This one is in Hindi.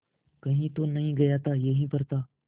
कहीं तो नहीं गया था यहीं पर था